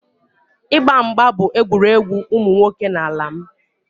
Ịgba mgba bụ egwuregwu ụmụ nwoke n'ala m